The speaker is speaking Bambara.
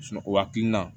o hakilina